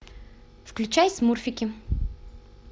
включай смурфики